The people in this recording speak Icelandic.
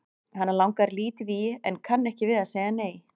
Hana langar lítið í en kann ekki við að segja nei.